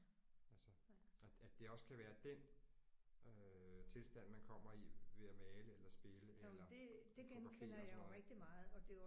Altså at at det også kan være den øh tilstand man kommer i ved at male eller spille eller fotografere og sådan noget